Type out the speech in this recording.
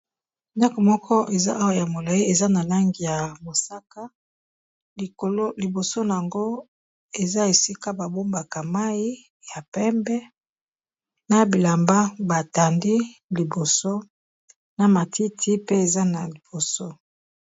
Ndaku moko eza awa ya molayi eza na langi ya mosaka likolo liboso nango eza esika babombaka mayi ya pembe na bilamba batandi liboso na matiti pe eza na liboso.